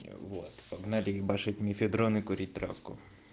вот погнали ебашить мефедрон и курить травку